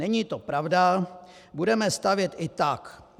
Není to pravda, budeme stavět i tak.